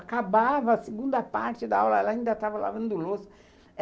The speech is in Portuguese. Acabava a segunda parte da aula, ela ainda estava lavando a louça.